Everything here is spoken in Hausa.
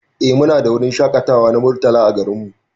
Eh Mu na da wurin shakatawa na Murtala a garin mu.